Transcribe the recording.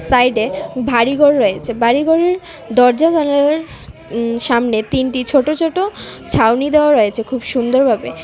Side এ ভারিঘর রয়েছে। বাড়িঘরের দরজা জানালার উম সামনে তিনটি ছোটো ছোটো ছাউনি দেওয়া রয়েছে খুব সুন্দর ভাবে ।